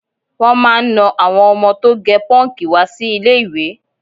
Wọ́n máà ń na àwọn ọmọ tó gẹ pọ́ǹkì wá sí ilé-ìwé